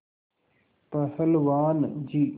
पहलवान जी